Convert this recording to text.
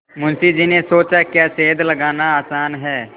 मुंशी जी ने सोचाक्या सेंध लगाना आसान है